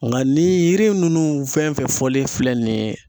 Nga ni yiri nunnu fɛn fɛn fɔlen filɛ nin ye